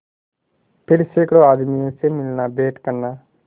फिर सैकड़ों आदमियों से मिलनाभेंट करना